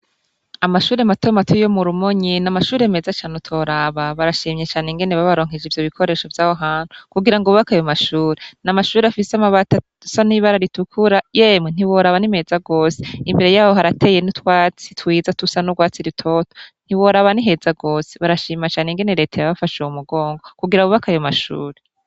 Amashure mato mato yo Murumonyi namashure meza cane utoroba barashimye cane ingene babaronkeje ivyo bikoresho vyaho hantu kugirango bubake ayo mashure, namashure afise amabati asa nibara ritukura yemwe ntiworaba ni meza gose imbere yaho harateye nutwatsi twiza dusa nurwatsi rutoto ntiworaba niheza gose barashima cane ingene reta yabafashe mumugongo kugira bubake ayo mashure.